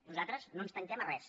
nosaltres no ens tanquem a res